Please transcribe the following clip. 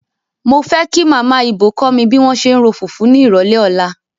Mo fẹ́ kí Màmá Ibò kó mi bí wọ́n ṣe ń ro fùfú ní ìrọ̀lẹ́ ọ̀la.